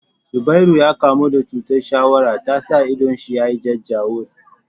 Zubairu ya kamu da chutar shawara tasa idon shi ya jajawur